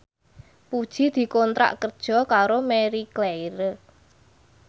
Puji dikontrak kerja karo Marie Claire